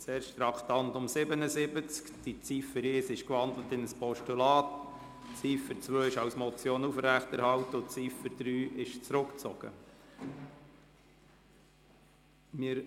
Zuerst zu Traktandum 77. Ziffer 1 ist in ein Postulat umgewandelt worden, Ziffer 2 wird als Motion aufrechterhalten und Ziffer 3 ist zurückgezogen worden.